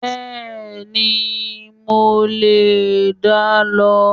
Bẹ́ẹ̀ni, mo lè dá lọ